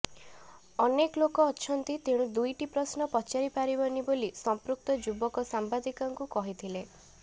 ଅନେକ ଲୋକ ଅଛନ୍ତି ତେଣୁ ଦୁଇଟି ପ୍ରଶ୍ନ ପଚାରି ପାରିବନି ବୋଲି ସମ୍ପୃକ୍ତ ଯୁବକ ସାମ୍ବାଦିକାଙ୍କୁ କହିଥିଲେ